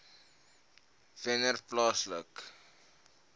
wennerplaaslike